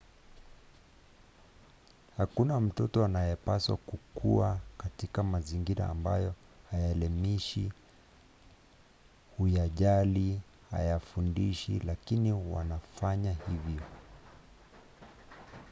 hakuna mtoto anayepaswa kukua katika mazingira ambayo hayaelimishi huyajali hayafundishi lakini wanafanya hivyo